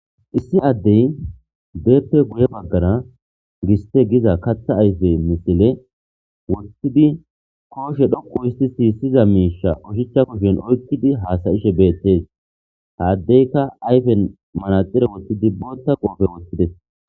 issi addey beeppe guye baggara giste giza katha ayfe misile wottidi kooshe dhoqu isti siyisyiza miisha oshicha kushen oykkidi haasayishe beettes saddeyka ayfen malaxire wottidi bootta qoofe wotides